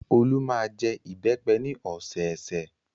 Olú máa ń jẹ ìbẹ́pẹ ní ọ̀sẹ̀ẹ̀sẹ̀.